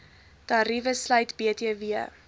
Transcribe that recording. tariewe sluit btw